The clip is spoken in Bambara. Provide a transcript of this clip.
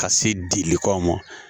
Ka se dilikaw ma